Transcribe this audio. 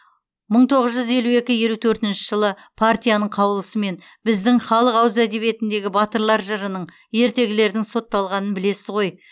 мың тоғыз жүз елу екі елу төртінші жылы партияның қаулысымен біздің халық ауыз әдебиетіндегі батырлар жырының ертегілердің сотталғанын білесіз ғой